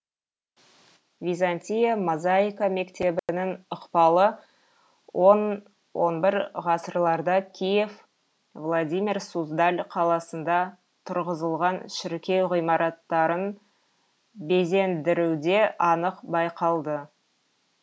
византия мозаика мектебінің ықпалы он он бір ғасырларда киев владимир суздаль қаласында тұрғызылған шіркеу ғимараттарын безендіруде анық байқалды